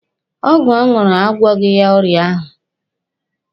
Ọgwụ ọ ṅụrụ agwọghị ya ọrịa ahụ.